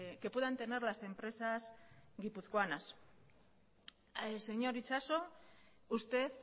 que puedan tener las empresas guipuzcoanas señor itxaso usted